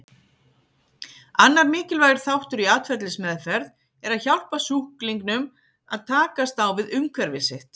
Annar mikilvægur þáttur í atferlismeðferð er að hjálpa sjúklingnum að takast á við umhverfi sitt.